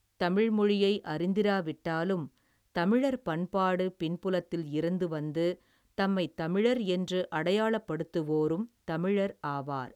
தமிழ் மொழியை அறிந்திரா விட்டாலும் தமிழர் பண்பாடு பின்புலத்தில் இருந்து வந்து தம்மைத் தமிழர் என்று அடையாளப்படுத்துவோரும் தமிழர் ஆவார்.